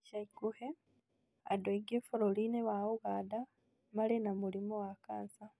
ĩca ĩkuhĩ andũ aingĩ bũrũri-ĩnĩ wa Ũganda marĩ na mũrĩmũ wa kansa.